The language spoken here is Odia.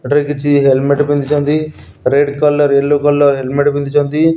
ଏଠାରେ କିଛି ହେଲମେଟ ପିନ୍ଧିଛନ୍ତି। Red colour yellow colour helmet ପିନ୍ଧିଚନ୍ତି।